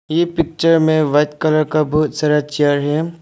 ये पिक्चर में white colour का बहोत सारा चेयर है।